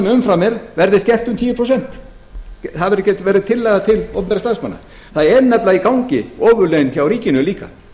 umfram er verði skert um tíu prósent það verði tillaga til opinberra starfsmanna það eru nefnilega í gangi ofurlaun hjá ríkinu líka